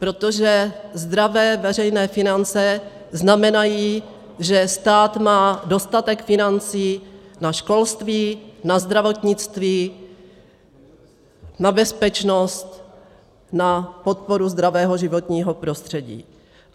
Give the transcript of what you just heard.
Protože zdravé veřejné finance znamenají, že stát má dostatek financí na školství, na zdravotnictví, na bezpečnost, na podporu zdravého životního prostředí.